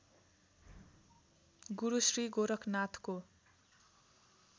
Guru Shri गोरखनाथको